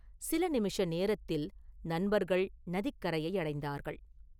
சில நிமிஷ நேரத்தில் நண்பர்கள் நதிக்கரையை அடைந்தார்கள்.